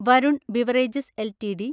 Varun beverages LTD